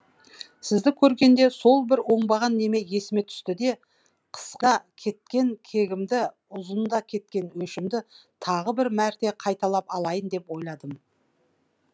сізді көргенде сол бір оңбаған неме есіме түсті де қысқада кеткен кегімді ұзында кеткен өшімді тағы бір мәрте қайталап алайын деп ойладым